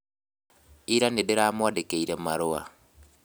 Ira nĩndĩramwandĩkĩire marũa